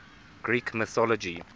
greek mythology